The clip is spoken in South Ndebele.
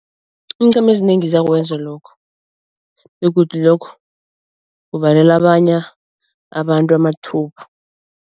Iinqhema ezinengi ziyakwenza lokho begodu lokho kuvalela abanye abantu amathuba.